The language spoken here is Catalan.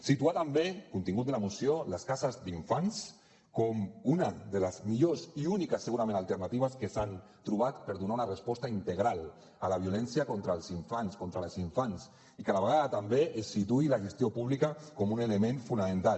situar també contingut de la moció les cases d’infants com una de les millors i úniques segurament alternatives que s’han trobat per donar una resposta integral a la violència contra els infants i que a la vegada també es situï la gestió pública com un element fonamental